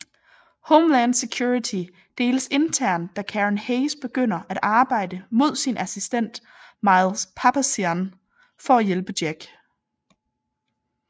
Homeland Security deles internt da Karen Hayes begynder at arbejde mod sin assistent Miles Papazian for at hjælpe Jack